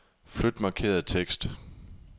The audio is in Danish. Flyt markerede tekst.